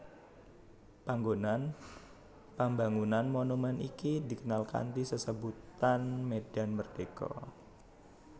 Panggonan pambangunan monumèn iki dikenal kanthi sesebutan Medan Merdeka